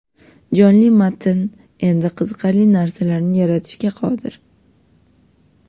Jonli matn endi qiziqarli narsalarni yaratishga qodir.